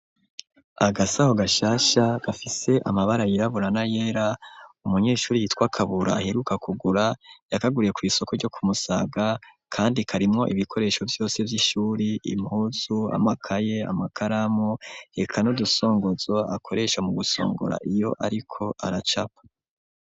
Agasaho gashasha gafise amabara yiraburana yera umunyeshuri yitwakabura aheruka kugura yakaguriye kw'isoko ryo kumusaga, kandi karimwo ibikoresho vyose vy'ishuri impuzu amakaye amakaramu reka n'udusongozo akoresha mu gusongora iyo, ariko aracapa.